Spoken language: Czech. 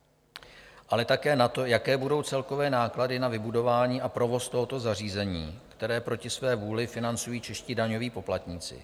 - ale také na to, jaké budou celkové náklady na vybudování a provoz tohoto zařízení, které proti své vůli financují čeští daňoví poplatníci.